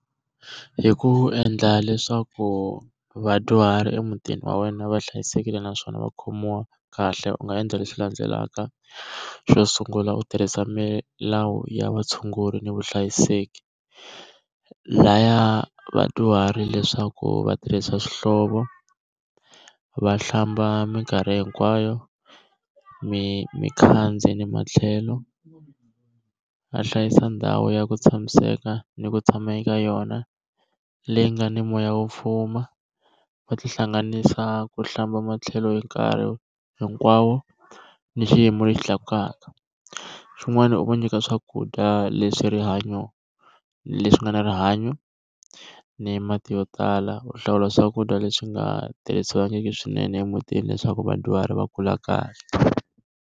Hi ku endla leswaku vadyuhari emutini wa wena va hlayisekile naswona va khomiwa kahle, u nga endla leswi landzelaka. Xo sungula u tirhisa milawu ya vatshunguri ni vuhlayiseki. Laya vadyuhari leswaku va tirhisa swihlovo, va hlamba minkarhi hinkwayo, ni matlhelo, a hlayisa ndhawu ya ku tshamiseka ni ku tshama eka yona leyi nga ni moya wo fuma. Va tihlanganisa ku hlamba matlhelo hi nkarhi hinkwawo, ni xiyimo lexi tlakukaka. Swin'wana i ku va nyika swakudya leswi rihanyo leswi nga na rihanyo ni mati yo tala, u hlawula swakudya leswi nga tirhisiwangiki swinene emutini leswaku vadyuhari va kula kahle.